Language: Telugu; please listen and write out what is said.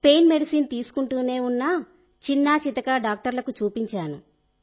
పెయిన్ మెడిసిన్ తీసుకుంటూనే ఉన్న చిన్నా చితకా డాక్టర్లకు చూపించాను